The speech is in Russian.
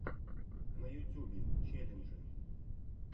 на ютьюбе челленджи